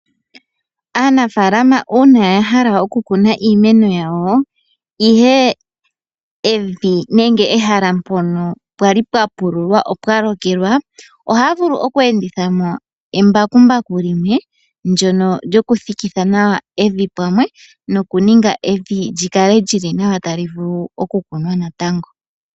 Aanafalama uuna ya hala oku kuna iimeno yawo ihe evi nenge ehala mpono pwali pwa pululwa opwa lokelwa, ohaya vulu oku enditha mo embakumbaku limwe ndyono lyoku thikitha evi pamwe noku ninga evi lyi kale lyili nawa tali vulu oku kunwa natango.